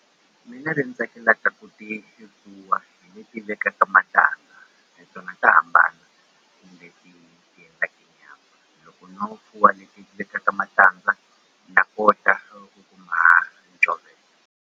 Mina leyi ni tsakelaka ku ti fuwa hi leti vekaka matandza tona ta hambana nyama loko no fuwa leti ti vekaka matandza na kota kuma .